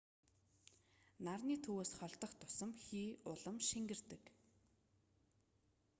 нарны төвөөс холдох тусам хий улам шингэрдэг